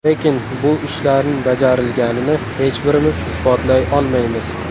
Lekin bu ishlarning bajarilganini hech birimiz isbotlay olmaymiz.